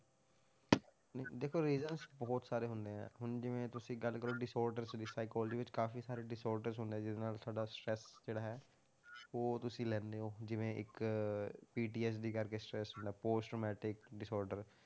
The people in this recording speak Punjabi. ਨਹੀਂ, ਦੇਖੋ reasons ਬਹੁਤ ਸਾਰੇ ਹੁੰਦੇ ਹੈ, ਹੁਣ ਜਿਵੇਂ ਤੁਸੀਂ ਗੱਲ ਕਰੋ disorder ਦੀ psychology ਵਿੱਚ ਕਾਫ਼ੀ ਸਾਰੇ disorders ਹੁੰਦੇ ਆ ਜਿਹਦੇ ਨਾਲ ਸਾਡਾ stress ਜਿਹੜਾ ਹੈ ਉਹ ਤੁਸੀਂ ਲੈਂਦੇ ਹੋ ਜਿਵੇਂ ਇੱਕ PTS ਦੀ ਕਰਕੇ stress ਹੁੰਦਾ post matric disorder